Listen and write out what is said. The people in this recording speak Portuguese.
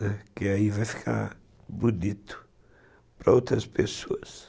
Né, que aí vai ficar bonito para outras pessoas